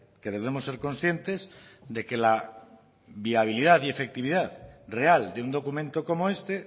que debemos ser conscientes de que la viabilidad y efectividad real de un documento como este